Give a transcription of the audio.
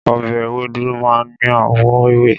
Ọbẹ̀ ewédú máa ń ní àwọ̀ ewé.